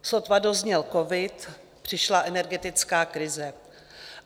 Sotva dozněl covid, přišla energetická krize.